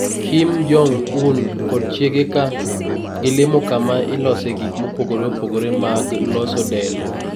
Kim Jong-Un kod chiege ka gilimo kama ilosee gik mopogore opogore mag loso del.